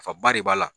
Nafaba de b'a la